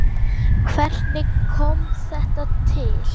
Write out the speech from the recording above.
Hvernig kom þetta til?